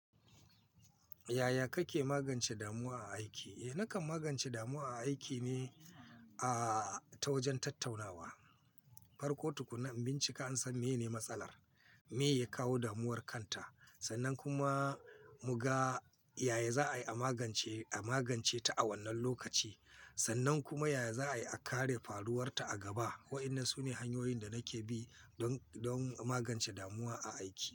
Yaya kake magance damuwa a aiki? Eh, nakan magance damuwa a aiki ne a ta wajen tattaunawa. Farko tukuna in bincika in san menene matsalar, me ya kawo damuwar kanta sannan kuma muga yaya za'a yi a magance, a magance ta a wannan lokaci sannan kuma yaya za'ayi a kare faruwarta a gaba. Wa'inna su ne hanyoyin da nake bi don, don a magance damuwa a aiki.